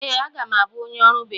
Ee, aga m abụ onye ọrụ bekee.